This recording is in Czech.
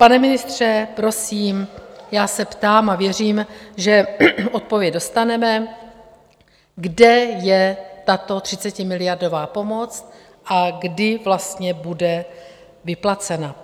Pane ministře, prosím, já se ptám a věřím, že odpověď dostaneme - kde je tato 30miliardová pomoc a kdy vlastně bude vyplacena?